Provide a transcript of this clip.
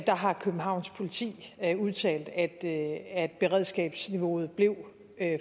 har københavns politi udtalt at beredskabsniveauet blev